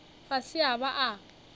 ga se a ba a